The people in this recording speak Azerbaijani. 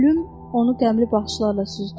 Pülüm onu qəmli baxışlarla süzdü.